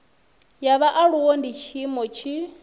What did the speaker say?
ya vhaaluwa ndi tshiimiswa tshi